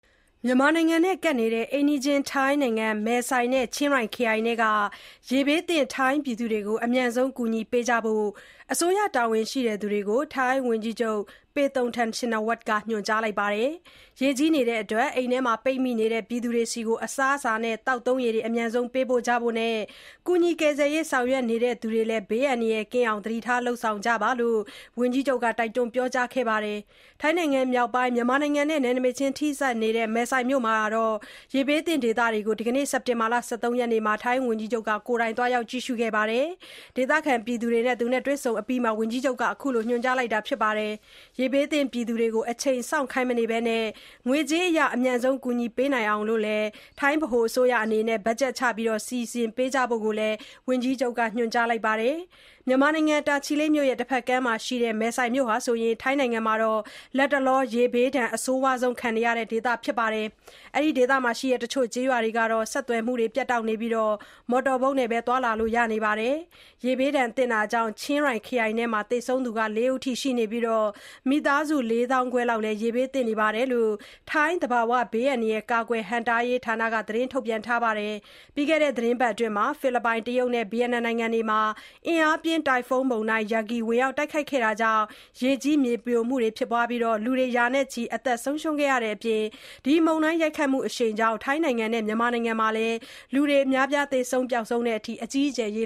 မြန်မာနိုင်ငံနဲ့ ကပ်နေတဲ့ ထိုင်းနိုင်ငံ မယ်ဆိုင်နဲ့ ချင်းရိုင်ခရိုင်အတွင်းက ရေဘေးသင့် ပြည်သူတွေကို အမြန်ဆုံး ကူညီပေးကြဖို့ အစိုးရတာဝန်ရှိသူတွေကို ထိုင်းဝန်ကြီးချုပ် Paetongtarn Shinawatra က ညွှန်ကြားလိုက်ပါတယ်။ ရေကြီးနေတဲ့အတွက် အိမ်တွေမှာ ပိတ်မိနေသူတွေဆီကို အစားအစာနဲ့ သောက်သုံးရေ အမြန်ဆုံး ပေးဖို့ကြနဲ့ ကူညီရေး ဆောင်ရွက်နေသူတွေလည်း ဘေးအန္တရာယ်ကင်းအောင် သတိထား လုပ်ဆောင်ကြဖို့ ဝန်ကြီးချုပ်က ပြောကြားခဲ့ပါတယ်။ ထိုင်းနိုင်ငံမြောက်ပိုင်း မြန်မာနဲ့ နယ်နိမိတ်ချင်း ထိစပ်နေတဲ့ မယ်ဆိုင်မြို့က ရေဘေးသင့် ဒေသတွေကို ဒီကနေ့ စက်တင်ဘာ ၁၃ ရက်နေ့မှာ ကိုယ်တိုင် သွားရောက် ကြည့်ရှုပြီး ဒေသခံပြည်သူတွေနဲ့ တွေ့ဆုံအပြီးမှာ ဝန်ကြီးချုပ်က အဲဒီလို ညွှန်ကြားလိုက်တာပါ။ ရေဘေးသင့်ပြည်သူတွေကို အချိန်စောင့်ခိုင်းမနေဘဲ ငွေကြေးအရ အမြန်ဆုံး ကူညီပေးနိုင်အောင် ဗဟိုအစိုးရက ဘတ်ဂျက်ချ စီစဉ်ပေးကြဖို့လည်း ဝန်ကြီးချုပ်က ညွှန်ကြားလိုက်ပါတယ်။ မြန်မာနိုင်ငံ၊ တာချီလိတ်မြို့ရဲ့ တဘက်ကမ်းမှာရှိတဲ့ ဒီ မယ်ဆိုင်မြို့ဟာ ထိုင်းနိုင်ငံမှာ လတ်တလော ရေဘေးဒဏ် အဆိုးရွားဆုံးခံနေရတဲ့ ဒေသဖြစ်ပြီး တချို ကျေးရွာတွေဟာ ဆက်သွယ်မှု ပြတ်တောက်နေတာကြောင့် မော်တော်ဘုတ်နဲ့သာ သွားလို့ရနေပါတယ်။ ရေဘေးဒဏ်ကြောင့် ချင်းရိုင်ခရိုင်အတွင်းမှာတင် သေဆုံးသူ ၄ ဦး ရှိခဲ့ပြီး မိသားစု ၄ သောင်းခွဲလောက်လည်း ရေဘေးသင့်နေတယ်လို့ ထိုင်း သဘာဝဘေးအန္တရာယ် ကာကွယ် ဟန့်တားရေးဌာနက ထုတ်ပြန်ပါတယ်။ ပြီးခဲ့တဲ့ သီတင်းပတ်အတွင်း ဖိလစ်ပိုင်၊ တရုတ်နဲ့ ဗီယက်နမ်နိုင်ငံတို့မှာ အင်အားပြင်း တိုင်ဖုန်းမုန်တိုင်း Yagi ဝင်ရောက် တိုက်ခတ်ခဲ့တာကြောင့် ရေကြီး၊ မြေပြိုမှုတွေနဲ့အတူ လူတွေလည်း ရာနဲ့ချီ အသက်ဆုံးရှုံးခဲ့ရတဲ့အပြင် မုန်တိုင်းရိုက်ခတ်မှုအရှိန်ကြောင့် ထိုင်းနဲ့ မြန်မာနိုင်ငံမှာလည်း လူတွေ သေဆုံး ပျောက်ဆုံးတဲ့အထိ အကြီးအကျယ် ရေ